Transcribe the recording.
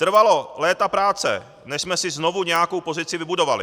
Trvalo léta práce než jsme si znovu nějakou pozici vybudovali.